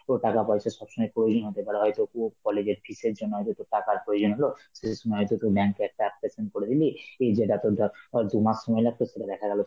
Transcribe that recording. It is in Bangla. টাকা পয়সার সব সময় প্রয়োজন হতে পারে, হয়তো তোর college এর fees জন্য হয়তো তোর টাকার প্রয়োজন হল, সেই সময় হয়তো তুই bank এ একটা করে দিলি, এই যেটা তোর ধর অ দুমাস সময় লাগতো সেটা দেখা গেল